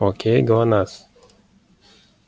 окей глонассс